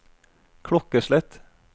klokkeslett